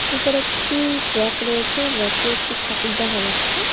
উপরে একটি ব়্যাক রয়েছে ব়্যাক -এ একটি ঠাকুর দেখা যাচ্ছে।